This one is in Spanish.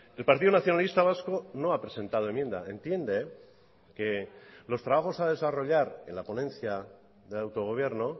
el partido nacionalista vasco no ha presentado enmienda entiende que los trabajos a desarrollar en la ponencia de autogobierno